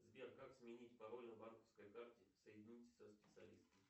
сбер как сменить пароль на банковской карте соедините со специалистом